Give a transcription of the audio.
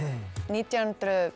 nítján